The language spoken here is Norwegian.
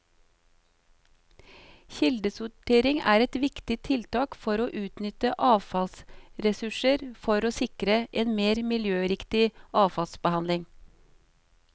Kildesortering er et viktig tiltak for å utnytte avfallsressurser og for å sikre en mer miljøriktig avfallsbehandling.